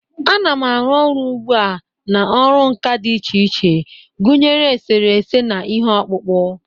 Ana m-arụ ọrụ ugbu a na ọrụ nka dị iche iche, gụnyere eserese, na ihe ọkpụkpụ.